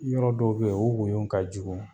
Yɔrɔ dɔw be ye o woyo ka jugu.